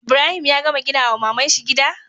Ibrahim ya gama gina wa mamanshi gida?